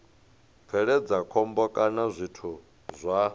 bveledza khombo kana zwithu zwa